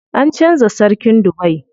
An canza sarkin Dubai.